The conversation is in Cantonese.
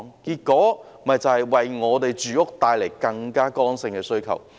結果便為住屋帶來更多剛性的需求。